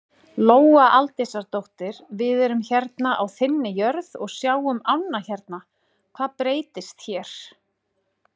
Lóa Aldísardóttir: Við erum hérna á þinni jörð og sjáum ánna hérna, hvað breytist hér?